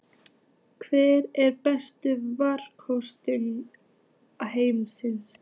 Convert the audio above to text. Hver er besti markvörður heims?